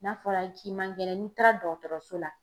N'a fɔra k'i man kɛnɛn n'i taara dɔgɔtɔrɔso la.